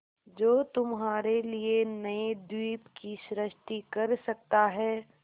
जो तुम्हारे लिए नए द्वीप की सृष्टि कर सकता है